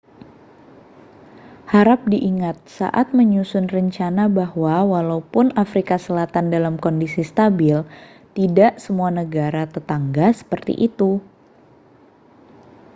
harap diingat saat menyusun rencana bahwa walaupun afrika selatan dalam kondisi stabil tidak semua negara tetangga seperti itu